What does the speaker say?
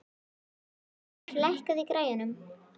Ormheiður, lækkaðu í græjunum.